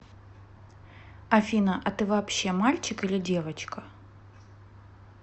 афина а ты вообще мальчик или девочка